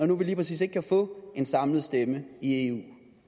nu lige præcis ikke kan få en samlet stemme i eu